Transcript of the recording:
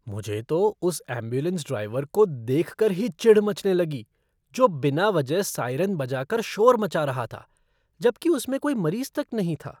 मुझे तो उस एंबुलेंस ड्राइवर को देखकर ही चिढ़ मचने लगी जो बिना वजह साइरन बजाकर शोर मचा रहा था, जबकि उसमें कोई मरीज़ तक नहीं था।